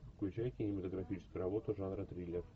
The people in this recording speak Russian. включай кинематографическую работу жанра триллер